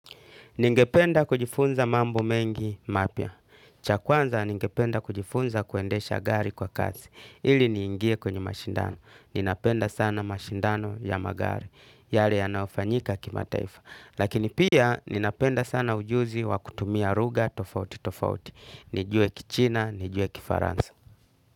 Ningependa kujifunza mambo mengi mapya. Cha kwanza ningependa kujifunza kuendesha gari kwa kasi. Ili niingie kwenye mashindano. Ninapenda sana mashindano ya magari. Yale yanayofanyika kimataifa. Lakini pia ninapenda sana ujuzi wa kutumia ruga tofauti tofauti. Nijue kichina, nijue kifaransa.